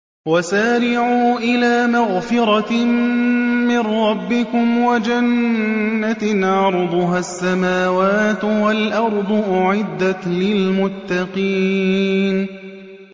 ۞ وَسَارِعُوا إِلَىٰ مَغْفِرَةٍ مِّن رَّبِّكُمْ وَجَنَّةٍ عَرْضُهَا السَّمَاوَاتُ وَالْأَرْضُ أُعِدَّتْ لِلْمُتَّقِينَ